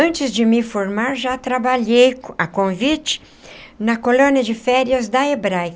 Antes de me formar, já trabalhei a convite na colônia de férias da EBRAE.